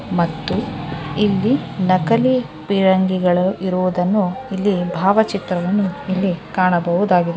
ಮತ್ತು ಇಲ್ಲಿ ನಕಲಿ ಫಿರಂಗಿಗಳು ಇರುವುದನ್ನು ಇಲ್ಲಿ ಬಾವಚಿತ್ರವನ್ನು ಇಲ್ಲಿ ಕಾಣಬಹುದಾಗಿದೆ.